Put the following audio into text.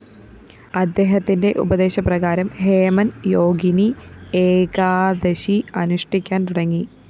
അദ്ദേഹത്തിന്റെ ഉപദേശപ്രകാരം ഹേമന്‍ യോഗിനി ഏകാദശി അനുഷ്ഠിക്കാന്‍ തുടങ്ങി